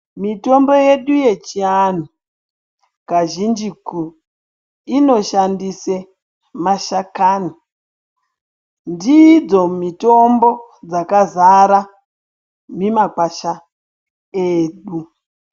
Mitombo yedu yechiantu kazhinjiku, inoshandise mashakani. Ndidzo mitombo dzakazara mimakwasha edu.